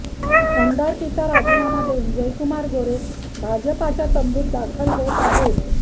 आमदारकीचा राजीनामा देऊन जयकुमार गोरे भाजपच्या तंबूत दाखल होत आहेत